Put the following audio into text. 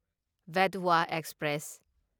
Betwa express